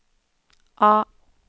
A